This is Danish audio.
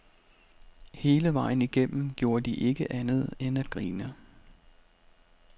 Hele vejen igennem gjorde de ikke andet end at grine.